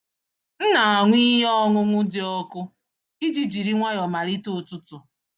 M na-aṅụ ihe ọṅụṅụ dị ọkụ iji jiri nwayọọ malite ụtụtụ.